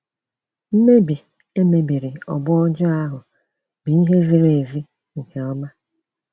Mmebi emebiri ọgbọ ọjọọ ahụ bụ ihe ziri ezi nke ọma.